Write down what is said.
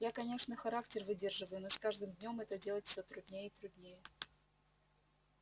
я конечно характер выдерживаю но с каждым днём это делать все труднее и труднее